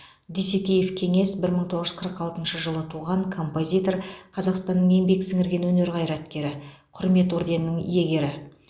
дүйсекеев кеңес бір мың тоғыз жүз қырық алтыншы жылы туған композитор қазақстанның еңбек сіңірген өнер қайраткері құрмет орденінің иегері